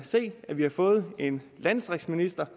se at vi har fået en landdistriktsminister